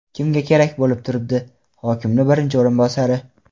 Kimga kerak bo‘lib turibdi, hokimni birinchi o‘rinbosari?